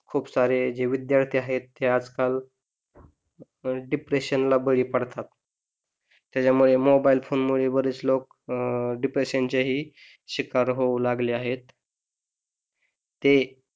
खूप सारे जे विद्यार्थी आहे ते आजकाल डिप्रेशनला बळी पडतात त्याच्यामुळे मोबाईल फोनमुळे बरेच लोक अह depression चे ही शिकार होऊ लागले आहे ते